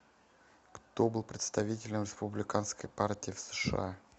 кто был представителем республиканской партии в сша